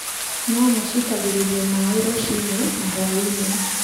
Nyanya ciitagĩrĩrio maaĩ rũcinĩ na hwaĩ-inĩ